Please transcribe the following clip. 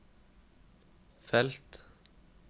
felt